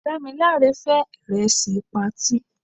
Dámilare fé ìrẹsì patí.